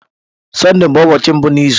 Sọnde bụ ụbọọchi mbụ n'izu.